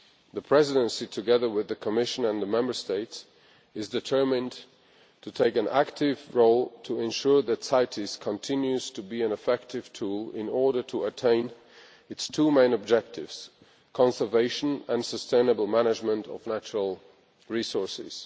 The Presidency, together with the Commission and the Member States, is determined to take an active role to ensure that CITES continues to be an effective tool in order to attain its two main objectives conservation and sustainable management of natural resources.